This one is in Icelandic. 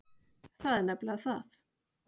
Það er nefnilega það.